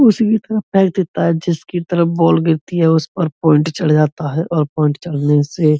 उसी की तरफ देता है जिसकी तरफ बॉल गिरती है। उस पर पॉइंट चले जाता है और पॉइंट चढ़ने से --